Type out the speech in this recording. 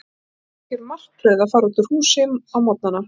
Það var algjör martröð að fara út úr húsinu á morgnana.